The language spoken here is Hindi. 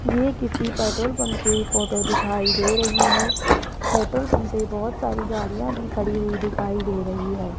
ये किसी पेट्रोल पंप की फोटो दिखाई दे रही है पेट्रोल पंप पे बहोत सारी गाड़ियां भी खड़ी हुई दिखाई दे रही है।